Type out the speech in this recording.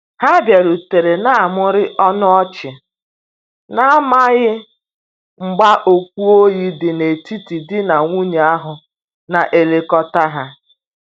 Ha biarutere na mụrụ ọnụ ọchi, na amaghi mgba okwu oyi di na etiti di na nwunye ahu na elekota ha